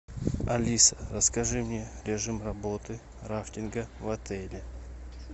алиса расскажи мне режим работы рафтинга в отеле